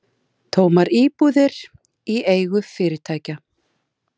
Úr þessu fæst stundum skorið með sagnfræðilegum rannsóknum.